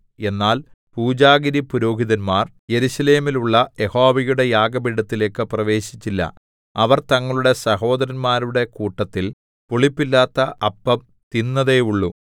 എന്നാൽ പൂജാഗിരിപുരോഹിതന്മാർ യെരൂശലേമിലുള്ള യഹോവയുടെ യാഗപീഠത്തിലേക്ക് പ്രവേശിച്ചില്ല അവർ തങ്ങളുടെ സഹോദരന്മാരുടെ കൂട്ടത്തിൽ പുളിപ്പില്ലാത്ത അപ്പം തിന്നതേയുള്ളു